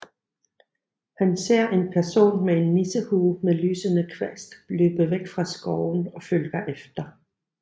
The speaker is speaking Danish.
Han ser en person med en nissehue med lysende kvast løbe væk fra skoven og følger efter